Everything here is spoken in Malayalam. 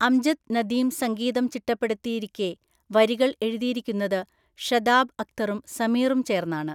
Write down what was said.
അംജദ് നദീം സംഗീതം ചിട്ടപ്പെടുത്തിയിരിക്കെ, വരികൾ എഴുതിയിരിക്കുന്നത് ഷദാബ് അക്തറും സമീറും ചേർന്നാണ് .